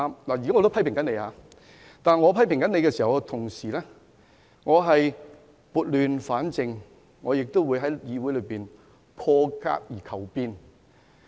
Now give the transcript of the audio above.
我現時也批評反對派議員，但我同時撥亂反正，在議會裏破格而求變。